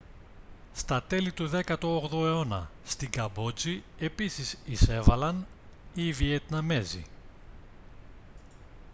στα τέλη του 18ου αιώνα στη καμπότζη επίσης εισέβαλαν οι βιετναμέζοι